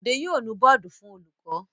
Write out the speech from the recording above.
Bọ̀dé yóò nu bọ́ọ́dù fún olùkọ́.